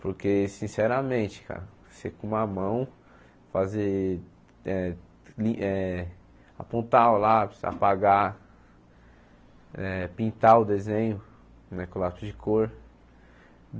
Porque, sinceramente, cara, você com uma mão fazer, eh ni eh apontar o lápis, apagar, eh pintar o desenho né com o lápis de cor.